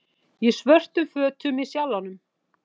Í svörtum fötum í Sjallanum